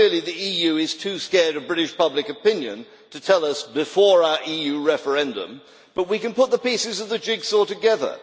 Clearly, the EU is too scared of British public opinion to tell us before our EU referendum, but we can put the pieces of the jigsaw together.